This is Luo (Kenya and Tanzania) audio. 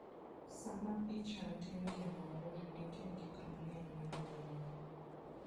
Sama ichan tim gimoro, nitie gik mang'eny monego non.